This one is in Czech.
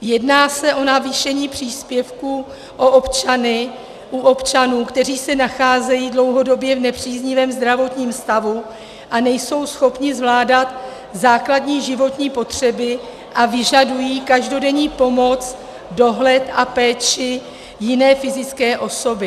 Jedná se o navýšení příspěvku u občanů, kteří se nacházejí dlouhodobě v nepříznivém zdravotním stavu a nejsou schopni zvládat základní životní potřeby a vyžadují každodenní pomoc, dohled a péči jiné fyzické osoby.